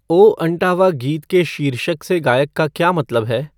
ओ अंटावा गीत के शीर्षक से गायक का क्या मतलब है